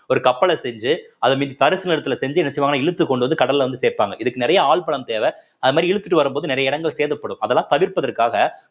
ஒரு கப்பலை செஞ்சு அதன் மீது தரிசு நிலத்தில செஞ்சு என்ன செய்வாங்கன்னா இழுத்துக்கொண்டு வந்து கடல்ல வந்து சேர்ப்பாங்க இதுக்கு நிறைய ஆள் பலம் தேவை அது மாரி இழுத்துட்டு வரும்போது நிறைய இடங்கள் சேதப்படும் அதெல்லாம் தவிர்ப்பதற்காக